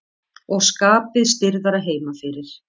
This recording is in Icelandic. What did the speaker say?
Og skapið stirðara heima fyrir.